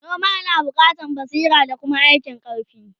noma na buƙatan basira da Kuma aikin karfi